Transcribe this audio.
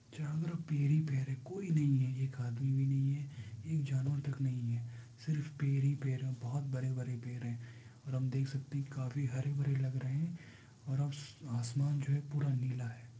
चोरा तरफ पेर ही पेर है। कोई नई है। एक आदमी भी नही है। एक जानवर तक नही है। सिर्फ पेर ही पेर है। बोहत परे परे पेर है। ओर हम देख सकते है काफी हरे भरे लग रहे हैं । आस आसमान जो है पूरा नीला हैं ।